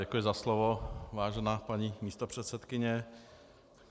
Děkuji za slovo, vážená paní místopředsedkyně.